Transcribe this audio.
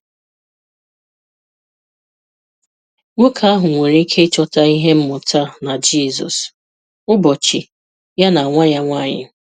Nwoke ahụ nwere ike ịchọta ihe mmụta na Jizọs, ụbọchị ya na nwa ya nwanyị.